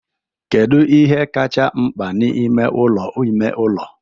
Kedu ihe kacha mkpa n'ime ụlọ ime ụlọ?